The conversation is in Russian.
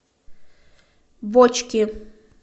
бочки